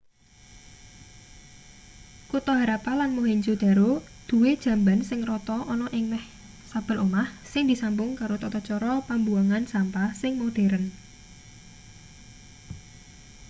kutha harappa lan mohenjo-daro duwe jamban sing rata ana ing meh saben omah sing disambung karo tata cara pambuwangan sampah sing modheren